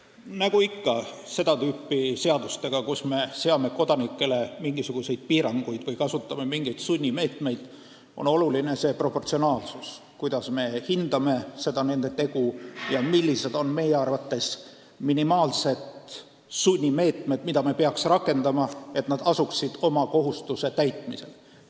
Nagu ikka seda tüüpi seadustega, kus me seame kodanikele mingisuguseid piiranguid või kasutame mingeid sunnimeetmeid, on oluline proportsionaalsus – kuidas me hindame nende tegu ja millised on meie arvates minimaalsed sunnimeetmed, mida me peaks rakendama, et nad asuksid oma kohustuse täitmisele.